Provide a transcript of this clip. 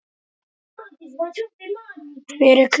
Hver er klár?